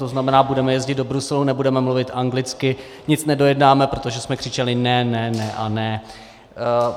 To znamená, budeme jezdit do Bruselu, nebudeme mluvit anglicky, nic nedojednáme, protože jsme křičeli ne, ne, ne a ne.